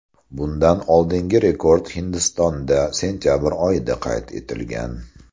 Bundan oldingi rekord Hindistonda sentabr oyida qayd etilgan.